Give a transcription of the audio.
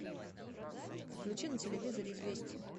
включи на телевизоре известия